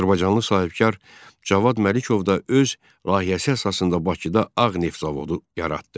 Azərbaycanlı sahibkar Cavad Məlikov da öz layihəsi əsasında Bakıda ağ neft zavodu yaratdı.